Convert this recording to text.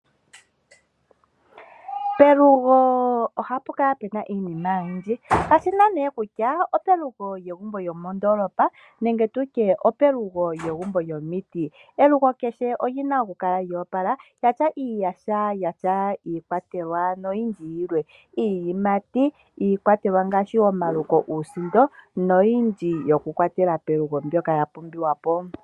Pelugo ohapu kala puna iinima oyindji kayishi owala kutya opelugo lyomegumbo lyomondoolopa nenge pelugu lyomegumbo lyomiti . Elugo kehe olina okukala lyoopala lyatya iiyaha yafa iikwatelwa noyindji yilwe. Iiyimati niikwatelwa ngaashi omaluko nuusindo noyindji yokukwatelwa pelugo mbyoka yapumbiwapo.